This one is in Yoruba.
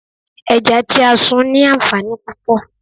Ẹja tí a sun ní anfaani púpò.